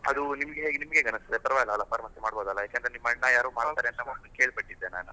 ಅದು ನಿಮಗೆ ನಿಮಗೆ ಹೇಗೆ ಅನಿಸ್ತಿದೆ ಪರವಾಗಿಲ್ಲ ಅಲ್ಲಾ pharmacy ಮಾಡಬೋದು ಅಲ್ಲಾ? ನಿಮ್ ಅಣ್ಣ ಯಾರೋ ಮಾಡ್ತಾರೆ ಮೊದ್ಲು ಕೇಳ್ಬಿಟ್ಟಿದ್ದೆ ನಾನು.